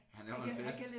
Han laver en fest